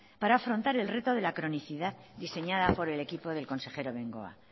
para afrontar el reto de la cronicidad diseñada por el equipo del consejero bengoa